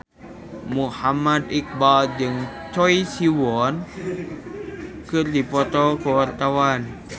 Muhammad Iqbal jeung Choi Siwon keur dipoto ku wartawan